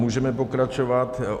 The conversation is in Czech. Můžeme pokračovat.